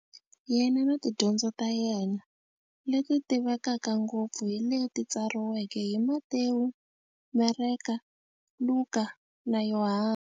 Yena na tidyondzo ta yena, leti tivekaka ngopfu hi leti tsariweke hi-Matewu, Mareka, Luka, na Yohani.